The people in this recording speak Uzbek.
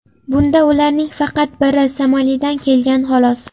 Bunda ularning faqat biri Somalidan kelgan, xolos.